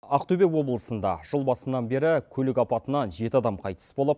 ақтөбе облысында жыл басынан бері көлік апатынан жеті адам қайтыс болып